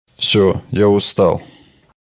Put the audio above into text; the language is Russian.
все я устал